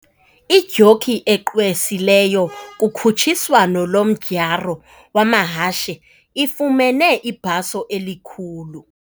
Idyoki egqwesileyo kukhutshiswano lomdyarho wamahashe ifumene ibhaso elikhulu.